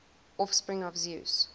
offspring of zeus